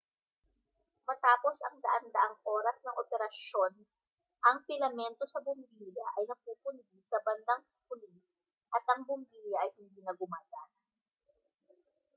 matapos ang daan-daang oras ng operasyon ang pilamento sa bombilya ay napupundi sa bandang huli at ang bombilya ay hindi na gumagana